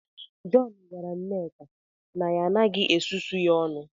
John gwara nneka na ya agaghị susuo ya ọnụ